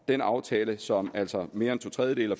den aftale som altså mere end to tredjedele